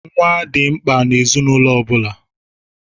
Nwa dị mkpa n'ezinaụlọ ọ bụla.